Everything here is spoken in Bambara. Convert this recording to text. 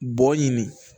Bɔ ɲini